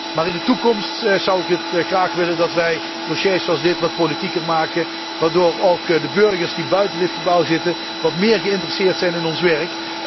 Maar in de toekomst zou ik graag willen dat wij dossiers zoals dit wat politieker maken waardoor ook de burgers die buiten dit gebouw zitten wat meer geïnteresseerd zijn in ons werk.